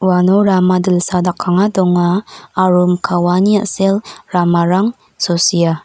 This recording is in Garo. uano rama dilsa dakanga donga aro mikka waani a·sel ramarang sosia.